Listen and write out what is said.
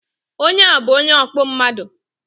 Onye a bu onye ọkpụ mmadu